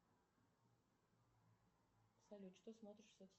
салют что смотришь